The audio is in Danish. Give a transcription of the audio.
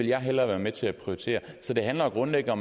jeg hellere være med til at prioritere så det handler jo grundlæggende